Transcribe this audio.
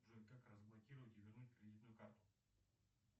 джой как разблокировать и вернуть кредитную карту